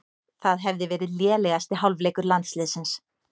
Það hefði verið lélegasti hálfleikur landsliðsins